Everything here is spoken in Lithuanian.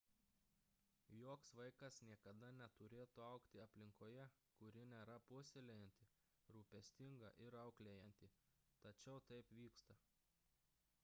joks vaikas niekada neturėtų augti aplinkoje kuri nėra puoselėjanti rūpestinga ir auklėjanti tačiau taip vyksta